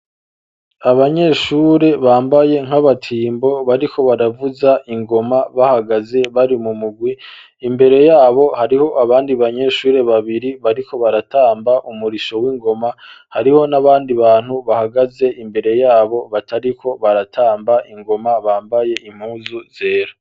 Abanyeshure bambaye nk'abatimbo bariko baravuza ingoma bahagaze bari mu mugwi imbere yabo hariho abandi banyeshure babiri bariko baratamba umurisho w'ingoma hariho n'abandi bantu bahagaze imbere yabo batariko baratamba ingoma bambaye impuzu zera